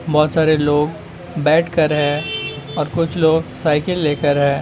बहुत सारे लोग बैठ कर हैं और कुछ लोग साइकिल ले कर हैं।